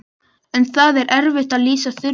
En það er erfitt að lýsa Þuru.